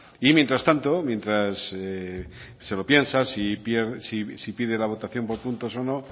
y mientras tanto mientras se lo piensa si pide la votación por puntos o no